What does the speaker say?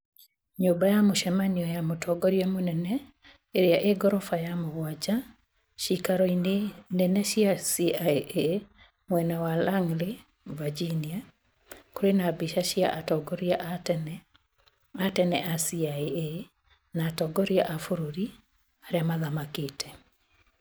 Nyũmba ya mũcemanio ya mũtongoria mũnene ĩrĩa ĩ ngoroba ya mũgwanja cĩkaro-inĩ nene cia CIA mwena wa Langley , Virginia, kĩrĩ na mbĩca cia atongoria a tene a tene a CIA na atongoria a bũrũri arĩa mathamakĩte